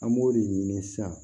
An b'o de ɲini sisan